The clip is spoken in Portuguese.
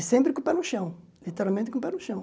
E sempre com o pé no chão, literalmente com o pé no chão.